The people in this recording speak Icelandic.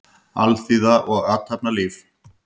Alþýða og athafnalíf.